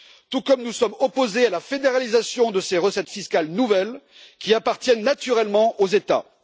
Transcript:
Tout comme nous sommes opposés à la fédéralisation de ces recettes fiscales nouvelles, qui appartiennent naturellement aux États.